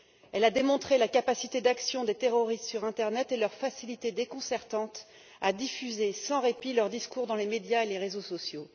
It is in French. Elle a démontré la capacité d'action des terroristes sur internet et leur facilité déconcertante à diffuser sans répit leurs discours dans les médias et les réseaux sociaux.